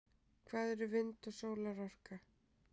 hvað eru vind og sólarorka